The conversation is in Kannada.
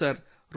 ಹೌದು ಸರ್